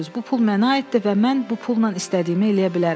Bu pul mənə aiddir və mən bu pulla istədiyimi eləyə bilərəm.